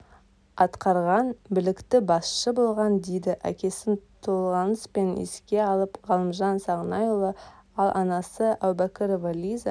атқарған білікті басшы болған дейді әкесін толғаныспен еске алып ғалымжан сағынайұлы ал анасы әубәкірова лиза